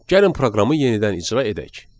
Gəlin proqramı yenidən icra edək.